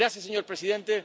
Gracias, señor presidente.